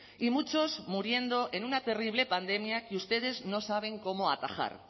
y muchos muriendo en una terrible pandemia que ustedes no saben cómo atajar